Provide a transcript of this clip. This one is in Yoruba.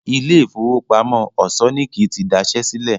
Ilé ìfowópamọ́ Òṣọ́níkí ti daṣẹ́ sílẹ̀